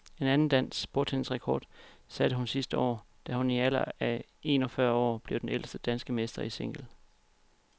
En anden dansk bordtennisrekord satte hun sidste år, da hun i en alder af en og fyrre år blev den ældste danske mester i single.